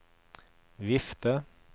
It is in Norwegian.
vifte